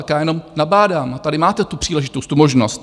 Tak já jenom nabádám, tady máte tu příležitost, tu možnost.